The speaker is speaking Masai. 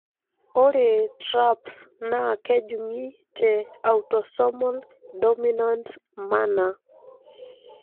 ore TRAPS na kejungi te autosomal dominant manner.